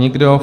Nikdo.